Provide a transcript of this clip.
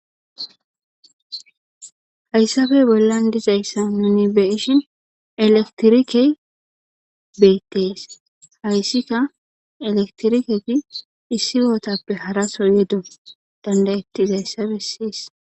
Hayssabe bollan dizayssa nuni beyishin elektirike beettees hayssika elektiriketi issi gootappe haraso yedo dandayettizayssabe siyis.